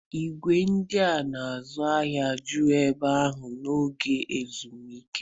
Ìgwè ndị na-azụ ahịa juru ebe ahụ n'oge ezumike.